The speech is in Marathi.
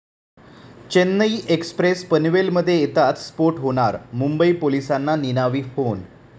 चेन्नई एक्स्प्रेस पनवेलमध्ये येताच स्फोट होणार, मुंबई पोलिसांना निनावी फोन